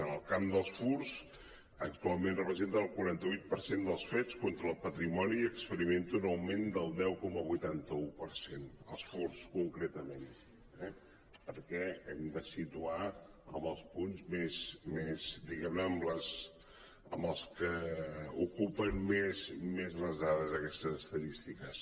en el camp dels furts actualment representen el quaranta vuit per cent dels fets contra el patrimoni i experimenta un augment del deu coma quaranta un per cent els furts concretament eh perquè hem de situar en els punts diguem·ne amb els que ocupen més les dades en aquestes estadístiques